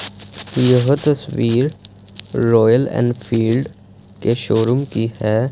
यह तस्वीर Royal Enfield के शोरूम की है।